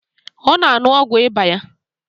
Ọ na-aṅụ́ogwu ịba ya